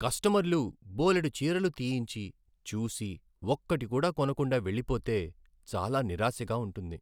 కస్టమర్లు బోలెడు చీరలు తీయించి, చూసి, ఒక్కటి కూడా కొనకుండా వెళ్ళిపోతే చాలా నిరాశగా ఉంటుంది.